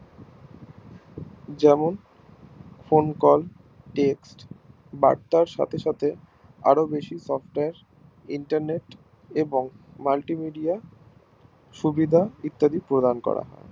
যেমন Phone calltext বার্তার সাথে সাথে আরো বেশি Softwareinternet এবং Multi Media সুবিধা ইত্যাদি প্রদান করা হয়